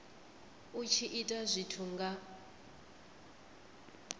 u tshi ita zwithu nga